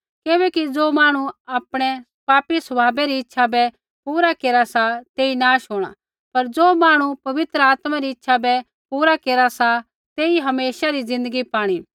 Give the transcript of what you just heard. किबैकि ज़ो मांहणु आपणै पापी स्वभावा री इच्छा बै पूरा केरा सा तेई नाश होंणा पर ज़ो मांहणु पवित्र आत्मा री इच्छा बै पूरा केरा सा तेई हमेशा री ज़िन्दगी पाणी